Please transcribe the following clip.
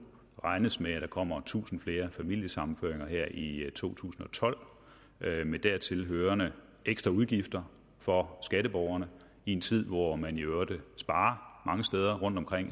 regnes med at der kommer tusind flere familiesammenføringer her i to tusind og tolv med dertil hørende ekstraudgifter for skatteborgerne i en tid hvor man i øvrigt sparer mange steder